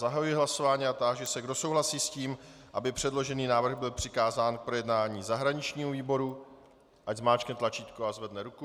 Zahajuji hlasování a táži se, kdo souhlasí s tím, aby předložený návrh byl přikázán k projednání zahraničnímu výboru, ať zmáčkne tlačítko a zvedne ruku.